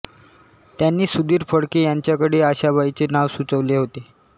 त्यांनीच सुधीर फडके यांच्याकडे आशाबाईंचे नाव सुचवले होते